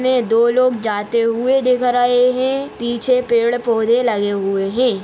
इसमे दो लोग जाते हुए दिख रहे है पीछे पेड़-पोधे लगे हुए है।